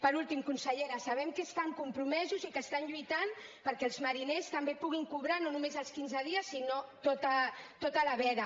per últim consellera sabem que estan compromesos i que estan lluitant perquè els mariners també puguin cobrar no només els quinze dies sinó tota la veda